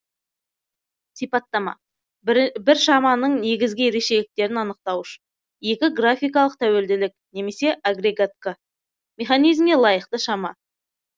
сипаттама бір шаманың негізгі ерекшеліктерін анықтауыш екі графикалық тәуелділік немесе агрегатқа механизмге лайықты шама